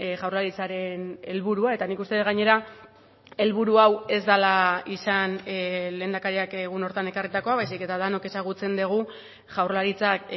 jaurlaritzaren helburua eta nik uste dut gainera helburu hau ez dela izan lehendakariak egun horretan ekarritakoa baizik eta denok ezagutzen dugu jaurlaritzak